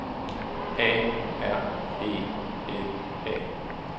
A R E N A